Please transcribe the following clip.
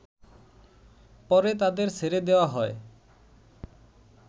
পরে তাদের ছেড়ে দেয়া হয়